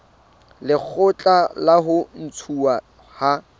lekgotla la ho ntshuwa ha